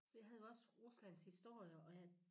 Jeg havde også Ruslands historie og jeg